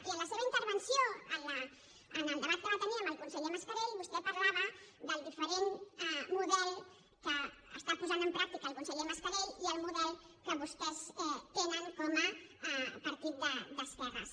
i en la seva intervenció en el debat que va tenir amb el conseller mascarell vostè parlava del diferent model que està posant en pràctica el conseller mascarell i el model que vostès tenen com a partit d’esquerres